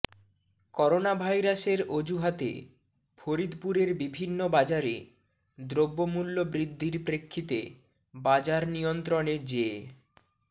করোনাভাইরাসের অজুহাতে ফরিদপুরের বিভিন্ন বাজারে দ্রব্যমূল্য বৃদ্ধির প্রেক্ষিতে বাজার নিয়ন্ত্রণে জে